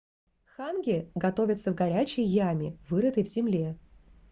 ханги готовится в горячей яме вырытой в земле